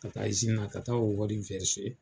Ka taa na, ka taa o wari .